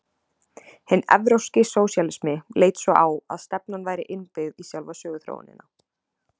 Hinn evrópski sósíalismi leit svo á að stefnan væri innbyggð í sjálfa söguþróunina.